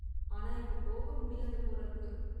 ஆனா இப்ப போக முடியாது போல இருக்கு.